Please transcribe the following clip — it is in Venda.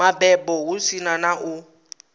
mabebo hu si na u